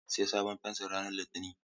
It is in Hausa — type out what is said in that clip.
Zan sayi sabon fensir ranar Litinin.